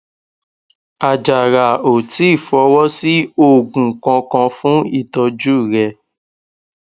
àjàrà ò tíì fọwó sí oògùn kankan fún ìtọjú rè